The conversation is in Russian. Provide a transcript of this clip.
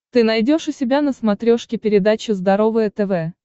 ты найдешь у себя на смотрешке передачу здоровое тв